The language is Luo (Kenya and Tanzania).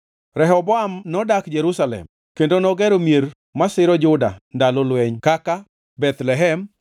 Rehoboam nodak Jerusalem kendo nogero mier masiro Juda ndalo lweny kaka: